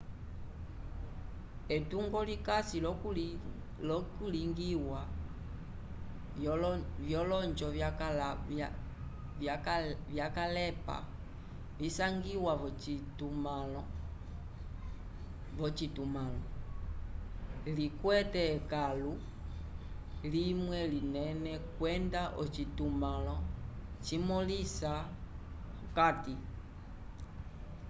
etungo likasi l'okulingiwa vyolonjo vyakalepa visangiwa v'ocitumãlo likwete ekãlu limwe linene kwenda ocitumãlo cimõlisa okati